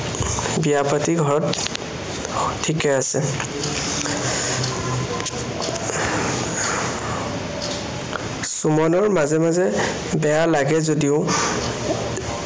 বিয়া পাতি ঘৰত ঠিকেই আছে। সুমনৰ মাজে মাজে বেয়া লাগে যদিও